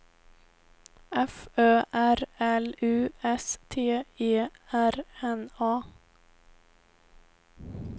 F Ö R L U S T E R N A